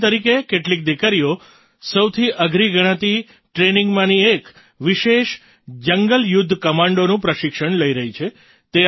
ઉદાહરણ તરીકે કેટલીક દીકરીઓ સૌથી અઘરી ગણાતી Trainingમાંની એક વિશેષ જંગલ યુદ્ધ કમાન્ડોનું પ્રશિક્ષણ લઈ રહી છે